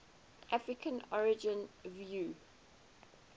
african origin view